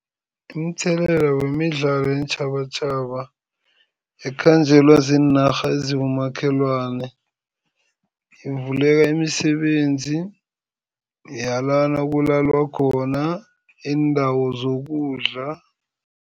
Umthelela wemidlalo yeentjhabatjhaba ikhanjelwa ziinarha ezibomakhelwane, ivuleka imisebenzi yalana kulalwa khona, iindawo zokudla.